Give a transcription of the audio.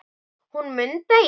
Hún Munda í